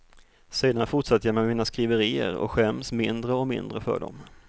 Sedan fortsatte jag med mina skriverier och skäms mindre och mindre för dem.